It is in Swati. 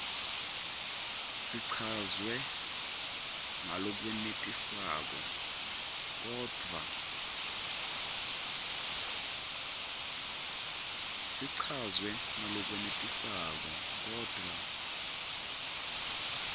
sichazwe ngalokwenetisako kodvwa